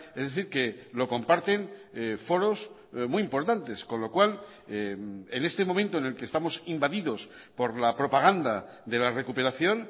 es decir que lo comparten foros muy importantes con lo cual en este momento en el que estamos invadidos por la propaganda de la recuperación